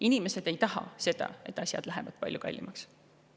Inimesed ei taha seda, et asjad läheksid palju kallimaks.